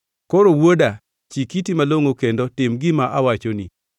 Koro wuoda chik iti malongʼo kendo tim gima awachoni.